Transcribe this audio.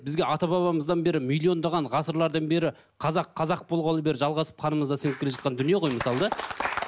бізге ата бабамыздан бері миллиондаған ғасырлардан бері қазақ қазақ болғалы бері жалғасып қанымызда сіңіп келе жатқан дүние ғой мысалы да